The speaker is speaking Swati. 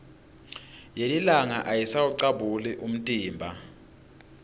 yelilanga ayisawucabuli umtimba